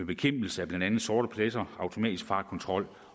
bekæmpelse af sorte pletter og automatisk fartkontrol